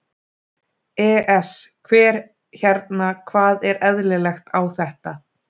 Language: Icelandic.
ES Hver hérna. hvað er eðlilegt á þetta?